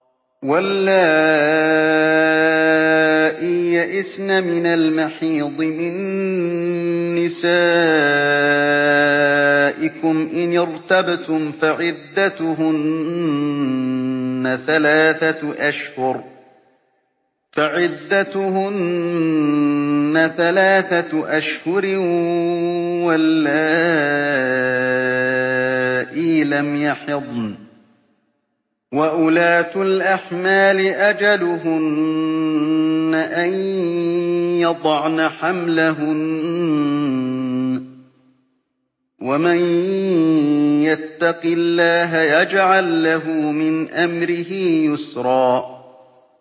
وَاللَّائِي يَئِسْنَ مِنَ الْمَحِيضِ مِن نِّسَائِكُمْ إِنِ ارْتَبْتُمْ فَعِدَّتُهُنَّ ثَلَاثَةُ أَشْهُرٍ وَاللَّائِي لَمْ يَحِضْنَ ۚ وَأُولَاتُ الْأَحْمَالِ أَجَلُهُنَّ أَن يَضَعْنَ حَمْلَهُنَّ ۚ وَمَن يَتَّقِ اللَّهَ يَجْعَل لَّهُ مِنْ أَمْرِهِ يُسْرًا